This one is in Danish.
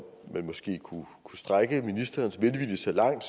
man måske kunne strække ministerens velvilje så langt